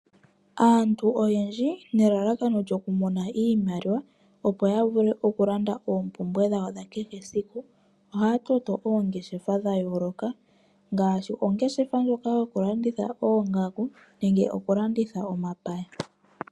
Aantu oyendji nelalakano lyoku mona iimaliwa opo ya vule oku landa oompumbwe dhawo dhakehe esiku, ohaa toto oongeshefa dha yoloka ngaashi ongeshefa ndjoka yoku landitha oongaku nenge oku landitha omapaya.